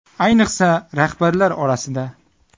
Ayniqsa rahbarlar orasida.